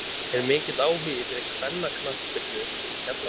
Er mikill áhugi fyrir kvennaknattspyrnu í Keflavík?